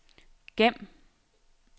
gem